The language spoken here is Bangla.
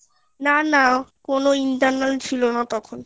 না না কোনো internal ছিল না তখন